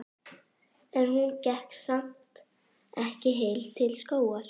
En hún gekk samt ekki heil til skógar.